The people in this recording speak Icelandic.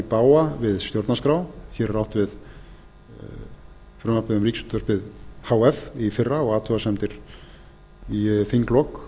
bága við stjórnarskrá hér er átt við frumvarpið um ríkisútvarpið h f í fyrra og athugasemdir í þinglok